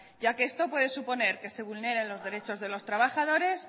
ya que esto puede suponer que se vulneren los derechos de los trabajadores